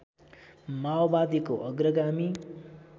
माओवादीको अग्रगामी